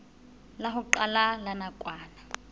la ho qala la nakwana